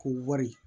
K'o wari